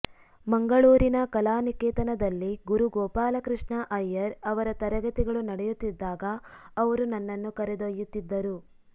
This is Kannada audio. ಮಂಗಳೂರಿನ ಕಲಾನಿಕೇತನದಲ್ಲಿ ಗುರು ಗೋಪಾಲಕೃಷ್ಣ ಅಯ್ಯರ್ ಅವರ ತರಗತಿಗಳು ನಡೆಯುತ್ತಿದ್ದಾಗ ಅವರು ನನ್ನನ್ನು ಕರೆದೊಯ್ಯುತ್ತಿದ್ದರು